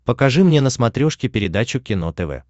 покажи мне на смотрешке передачу кино тв